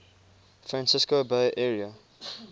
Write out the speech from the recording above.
francisco bay area